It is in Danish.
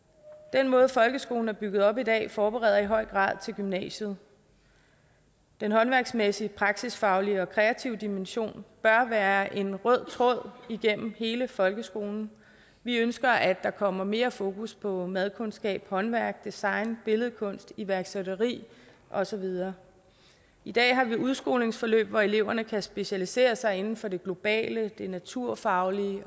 den måde folkeskolen er bygget op på i dag forbereder i høj grad til gymnasiet den håndværksmæssige praksisfaglige og kreative dimension bør være en rød tråd igennem hele folkeskolen vi ønsker at der kommer mere fokus på madkundskab håndværk design billedkunst iværksætteri og så videre i dag har vi udskolingsforløb hvor eleverne kan specialisere sig inden for det globale det naturfaglige